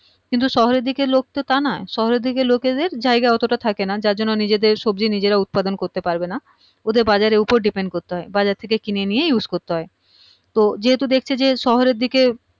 কিন্তু শহরের দিকের লোক তো তা নয় শহরের দিকের লোকে দের জায়গা অতটা থাকে না যার জন্যে নিজে দের সবজি নিজেরা উৎপাদন করতে পারবে না ওদের বাজারের ওপর depend করতে হয় বাজার থেকে কিনে নিয়েই use করতে হয় তো যেহুতু দেখছে যে শহরের দিকে